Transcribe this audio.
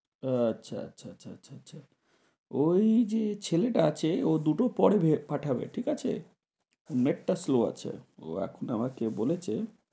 আচ্ছা আচ্ছা আচ্ছা আচ্ছা আচ্ছা। ঐ যে ছেলেটা আছে ও দুটো পরে পাঠাবে, ঠিক আছে? Net টা slow আছে। ও এখন আমাকে বলেছে